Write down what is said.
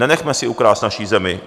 Nenechme si ukrást naši zemi!